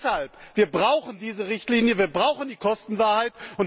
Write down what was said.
Deshalb brauchen wir diese Richtlinie, wir brauchen die Kostenwahrheit.